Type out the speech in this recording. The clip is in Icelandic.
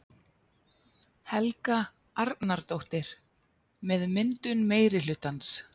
Helga Arnardóttir: með myndun meirihlutans?